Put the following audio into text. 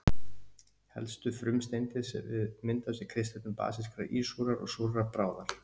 Helstu frumsteindir sem myndast við kristöllun basískrar, ísúrrar og súrrar bráðar.